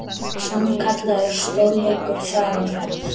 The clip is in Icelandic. Sannkallaður stórleikur þar á ferð.